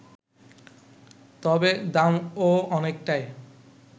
তবে দামও অনেকটাই